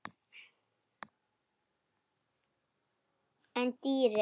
En dýrin?